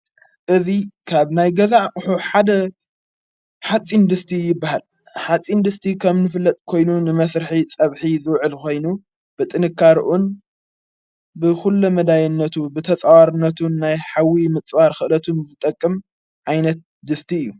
እዙይ ካብ ናይ ገዛዕ ሑ ሓደ ሓፂንድስቲ በሃል ሓጺ እንድስቲ ከም ንፍለጥ ኮይኑ ንመሥርሒ ጸብሒ ዘውዕል ኾይኑ ብጥንካርኡን ብዂሎ መዳየነቱ ብተጸዋርነቱን ናይ ሓዊ ምፅዋር ኽእደቱን ዝጠቅም ኣይነት ድስቲ እዩ።